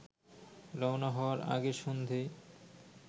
রওনা হওয়ার আগের সন্ধ্যেয়